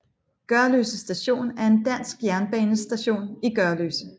Gørløse Station er en dansk jernbanestation i Gørløse